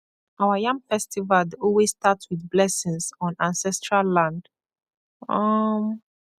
our yam festival dey always start with blessings on ancestral land um